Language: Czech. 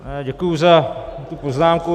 Děkuji za tu poznámku.